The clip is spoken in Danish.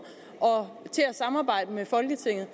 til at samarbejde med folketinget